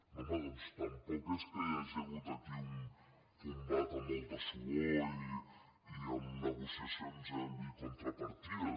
no home doncs tampoc és que hi hagi hagut aquí un combat amb molta suor i amb negociacions i contrapartides